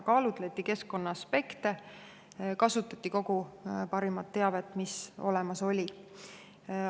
Kaalutleti keskkonnaaspekte, kasutati kogu parimat teavet, mis olemas oli.